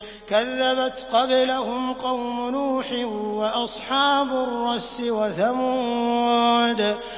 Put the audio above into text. كَذَّبَتْ قَبْلَهُمْ قَوْمُ نُوحٍ وَأَصْحَابُ الرَّسِّ وَثَمُودُ